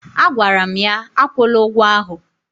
Agwara m ya, akwụla ụgwọ ahụ!